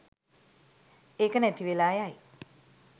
ඒක නැති වෙලා යයි